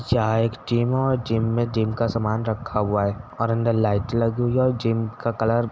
यहाँ एक जिम हो जिम में जिम का सामान रखा हुआ है और अंदर लाइट लगी हुई है जिम का कलर --